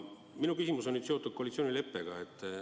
Minu küsimus on seotud koalitsioonileppega.